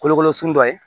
Kolokolo sun dɔ ye